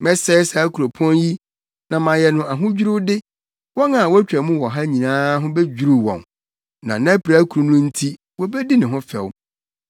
Mɛsɛe saa kuropɔn yi na mayɛ no ahodwiriwde; wɔn a wotwa mu wɔ hɔ no nyinaa ho bedwiriw wɔn, na nʼapirakuru no nti wobedi ne ho fɛw.